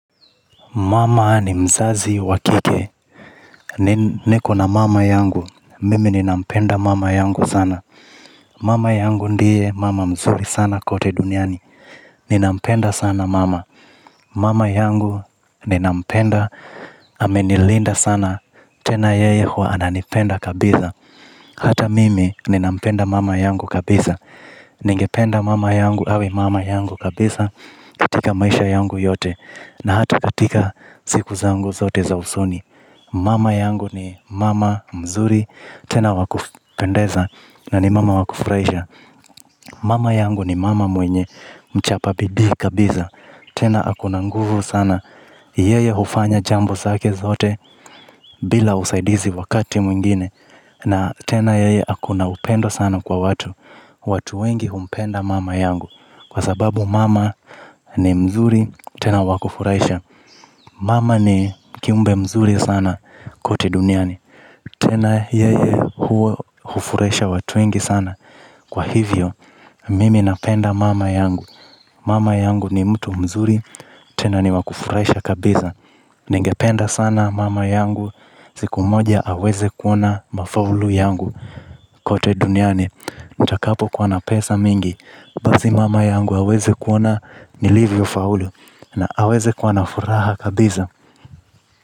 Mama ni mzazi wa kike, niko na mama yangu, mimi ninampenda mama yangu sana. Mama yangu ndiye mama mzuri sana kote duniani, ninampenda sana mama. Mama yangu ninampenda, amenilinda sana, tena yeye huwananipenda kabisa. Hata mimi ninampenda mama yangu kabisa, ningependa mama yangu awe mama yangu kabisa katika maisha yangu yote, na hata katika ziku zangu zote za usoni. Mama yangu ni mama mzuri. Tena wakupendeza. Na ni mama wakufurahisha. Mama yangu ni mama mwenye mchapa bidii kabisa. Tena ako na nguvu sana. Yeye hufanya jambo zake zote bila usaidizi wakati mwingine. Na tena yeye ako na upendo sana kwa watu. Watu wengi humpenda mama yangu. Kwa sababu mama ni mzuri. Tena wakufuraisha. Mama ni kiumbe mzuri sana. Kote duniani. Tena yeye huwa hufurasha watu wengi sana. Kwa hivyo, mimi napenda mama yangu. Mama yangu ni mtu mzuri, tena ni wakufurahisha kabisa. Ningependa sana mama yangu, siku moja awezekuona mafaulu yangu. Kote duniani, nitakapo kwa na pesa mingi basi mama yangu awezekuona nilivyofaulu. Na awezekuwa na furaha kabisa.